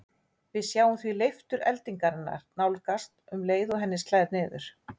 Við sjáum því leiftur eldingarinnar nánast um leið og henni slær niður.